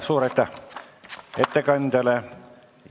Suur aitäh ettekandjale!